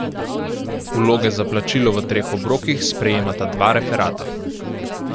Vloge za plačilo v treh obrokih sprejemata dva referata.